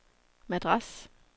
Madras